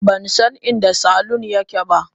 Ban san inda saloon yake ba.